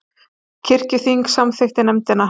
Kirkjuþing samþykkir nefndina